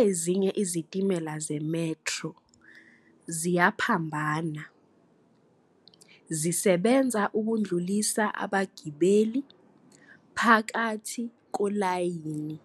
Ezinye iziteshi zemetro ziyaphambana, zisebenza ukudlulisa abagibeli phakathi kolayini